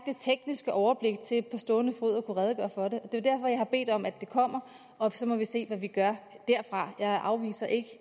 tekniske overblik til på stående fod at kunne redegøre for det og det er jeg har bedt om at det kommer og så må vi se hvad vi gør derfra jeg afviser ikke